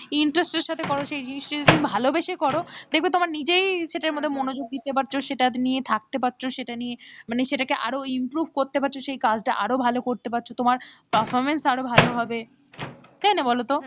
Interest এর সাথে করো সেই জিনিসটা যদি তুমি ভালোবেসে করো দেখবে তুমি নিজেই সেটার মধ্যে মনোযোগ দিতে পারছো সেটা নিয়ে থাকতে পারছো সেটা নিয়ে মানে সেটাকে আরো improve করতে পারছ সেই কাজটা আরও ভালো করতে পারছো, তোমার performance আরো ভালো হবে, তাই না বলতো,